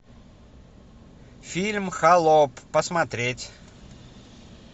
фильм холоп посмотреть